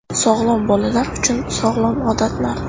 Sog‘lom bolalar uchun sog‘lom odatlar.